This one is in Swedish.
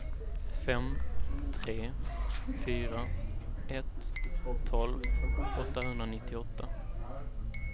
fem tre fyra ett tolv åttahundranittioåtta